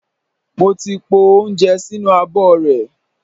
Mo ti po oúnjẹ sínú abọ́ rẹ̀.